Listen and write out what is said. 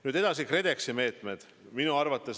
Nüüd edasi, KredExi meetmed.